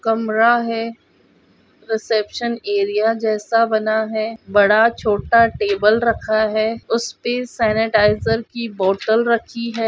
कमरा है reception area जैसा बना है बड़ा -छोटा टेबल रखा है उसपे सेनेटाइज़र की बॉटल रखी है।